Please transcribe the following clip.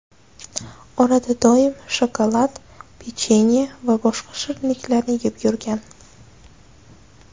Orada doim shokolad, pechenye va boshqa shirinliklarni yeb yurgan.